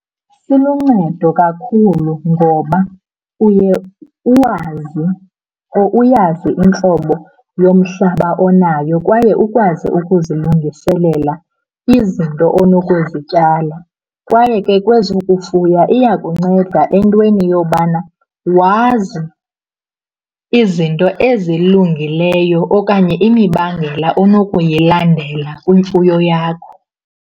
Siluncedo kakhulu ngoba uye uwazi or uyazi intlobo yomhlaba onaye kwaye ukwazi ukuzilungiselela izinto onokuzityala. Kwaye ke kwezokufuya, iyakunceda entweni yobana wazi izinto ezilungileyo okanye imibandela onokuyilandela kwimfuyo yakho.